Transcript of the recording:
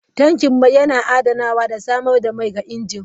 Tankin mai yana adanawa da samar da mai ga injin.